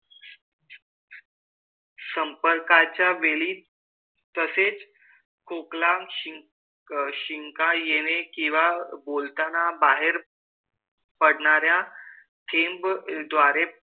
संपर्काच्या वेळी तसेच खोकला, शिंक, शिंका येणे, किंवा बोलताना बाहेर पडणाऱ्या थेंबाद्वारे,